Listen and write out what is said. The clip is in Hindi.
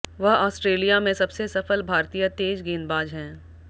वह आस्ट्रेलिया में सबसे सफल भारतीय तेज गेंदबाज हैं